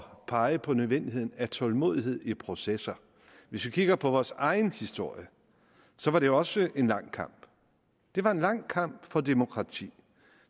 pege på nødvendigheden af tålmodighed i processer hvis vi kigger på vores egen historie var det også en lang kamp det var en lang kamp for demokrati